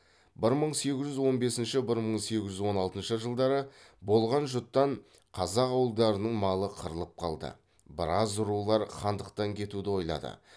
бір мың сегіз жүз он бесінші бір мың сегіз жүз он алтыншы жылы болған жұттан қазақ ауылдарының малы қырылып қалды біраз рулар хандықтан кетуді ойлады